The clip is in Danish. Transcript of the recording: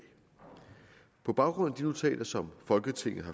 på baggrund af de notater som folketinget